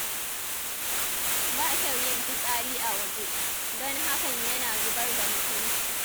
Ba kyau yin fitsari a waje, don hakan yana zubar da mutunci.